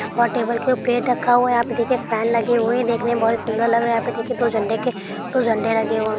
और टेबल के प्लेट रखा हुआ है| यहां पे देखिए फैन लगे हुए हैं देखने में बड़े सुन्दर लग रहे हैं| यहां पे देखिए दो झंडे के दो झंडे लगे हुए हैं।